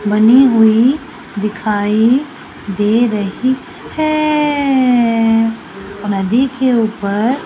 बनी हुई दिखाई दे रही है नदी के ऊपर --